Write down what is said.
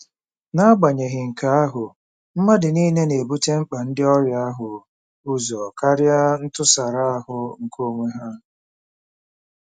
N'agbanyeghị nke ahụ, mmadụ nile na-ebute mkpa ndị ọrịa ahụ ụzọ karịa ntụsara ahụ nke onwe ha.